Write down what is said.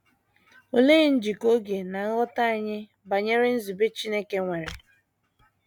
Olee njikọ oge na nghọta anyị banyere nzube Chineke, nwere?